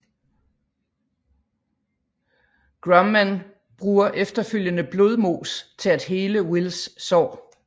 Grumman bruger efterfølgende blodmos til at hele Wills sår